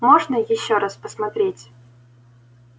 можно ещё раз посмотреть